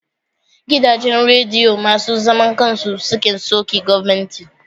Gidajen radiyo masu zaman kan su sukan soki gwamnati.